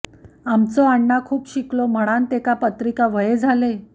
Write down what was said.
आमचो अण्णा खूप शिकलो म्हणान तेका पत्रिका व्हये झाले